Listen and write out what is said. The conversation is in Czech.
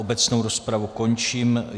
Obecnou rozpravu končím.